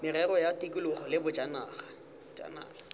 merero ya tikologo le bojanala